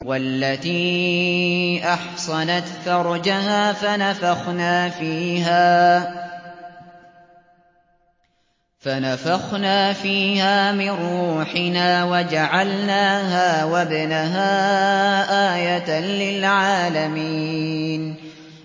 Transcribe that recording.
وَالَّتِي أَحْصَنَتْ فَرْجَهَا فَنَفَخْنَا فِيهَا مِن رُّوحِنَا وَجَعَلْنَاهَا وَابْنَهَا آيَةً لِّلْعَالَمِينَ